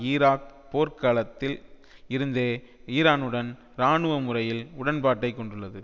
Iraq போர்க் காலத்தில் இருந்தே ஈரானுடன் இராணுவமுறையில் உடன்பாட்டை கொண்டுள்ளது